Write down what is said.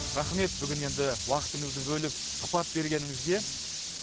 рахмет бүгін енді уақытыңызды бөліп сұхбат бергеніңізге